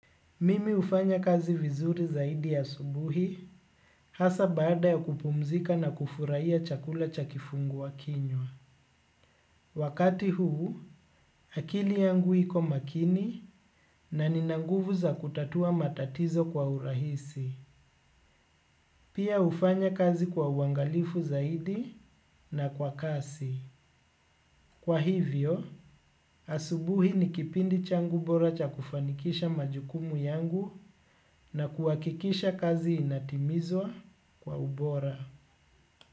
Mimi hufanya kazi vizuri zaidi asubuhi hasa baada ya kupumzika na kufurahia chakula cha kifungua kinywa. Wakati huu akili yangu iko makini na nina nguvu za kutatua matatizo kwa urahisi. Pia hufanya kazi kwa uangalifu zaidi na kwa kasi. Kwa hivyo asubuhi ni kipindi changu bora cha kufanikisha majukumu yangu na kuhakikisha kazi inatimizwa kwa ubora.